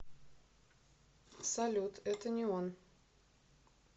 салют это не он